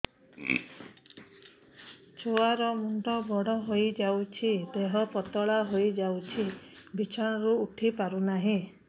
ଛୁଆ ର ମୁଣ୍ଡ ବଡ ହୋଇଯାଉଛି ଦେହ ପତଳା ହୋଇଯାଉଛି ବିଛଣାରୁ ଉଠି ପାରୁନାହିଁ